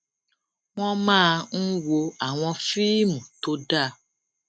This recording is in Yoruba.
wón máa ń wo àwọn fíìmù tó dá